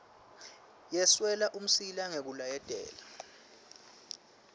yeswela umsila ngekulayetela